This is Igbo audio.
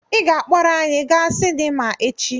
Ị ga-akpọrọ anyị gaa sinima echi!